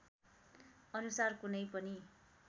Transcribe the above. अनुसार कुनै पनि